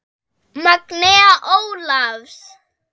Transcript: Magnea Ólafs.